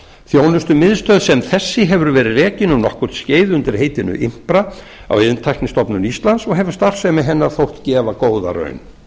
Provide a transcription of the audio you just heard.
þjónustumiðstöð sem þessi hefur verið rekin um nokkurt skeið undir heitinu impra á iðntæknistofnun íslands og hefur starfsemi hennar þótt gefa góða raun